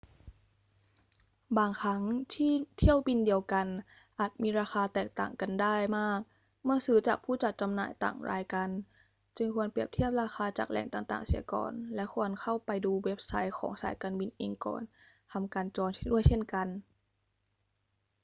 บางครั้งเที่ยวบินเดียวกันอาจมีราคาแตกต่างกันได้มากเมื่อซื้อจากผู้จัดจำหน่ายต่างรายกัน จึงควรเปรียบเทียบราคาจากแหล่งต่าง ๆ เสียก่อน และควรเข้าไปดูเว็บไซต์ของสายการบินเองก่อนทำการจองด้วยเช่นกัน